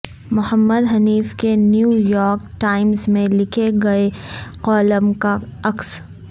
محمد حنیف کے New York Times میں لکھے گئے کالم کا عکس